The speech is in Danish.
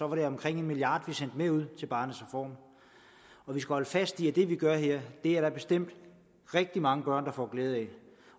var det omkring en milliard kr vi sendte med ud til barnets reform vi skal holde fast i at det vi gør her er der bestemt rigtig mange børn der får glæde af